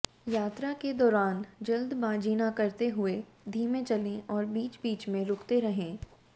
यात्रा के दौरान जल्दबाजी ना करते हुए धीमे चलें और बीच बीच में रुकते रहें